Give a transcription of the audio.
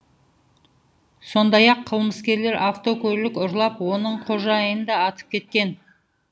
сондай ақ қылмыскерлер автокөлік ұрлап оның қожайынын да атып кеткен